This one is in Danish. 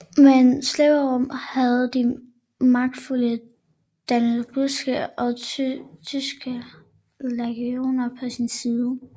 Men Severus havde de magtfulde danubiske og tyske legioner på sin side